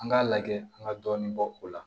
An k'a lajɛ an ka dɔɔnin bɔ o la